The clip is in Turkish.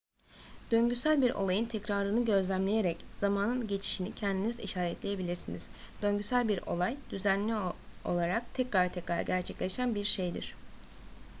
döngüsel bir olayın tekrarını gözlemleyerek zamanın geçişini kendiniz işaretleyebilirsiniz döngüsel bir olay düzenli olarak tekrar tekrar gerçekleşen bir şeydir